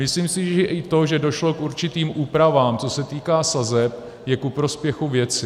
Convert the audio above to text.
Myslím si, že i to, že došlo k určitým úpravám, co se týká sazeb, je ku prospěchu věci.